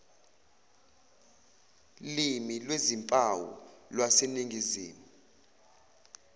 limi lwezimpawu lwaseningizimu